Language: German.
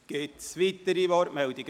Gibt es weitere Wortmeldungen?